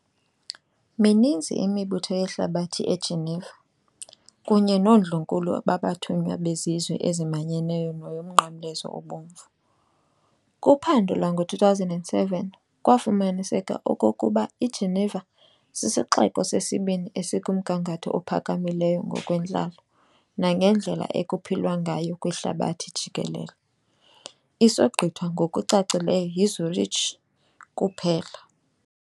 Mininzi imibutho yehlabathi eGeneva, kunye noondlunkulu babathunywa bezizwe ezimanyeneyo neyoMnqamlezo Obomvu. Kuphando lwango-2007 kwafumaniseka okokuba iGeneva sisixeko sesibini esikumgangatho ophakamileyo ngokwentlalo nangendlela ekuphilwa ngayo kwihlabathi jikelele isogqithwa ngokucacileyo yiZürich kuphela.